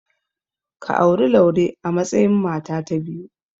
Ka auri Laure a matsayin mata ta biyu.